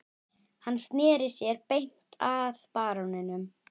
Hann sneri sér beint að baróninum